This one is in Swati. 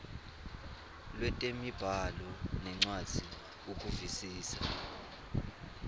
lwetemibhalo nencwadzi ukuvisisa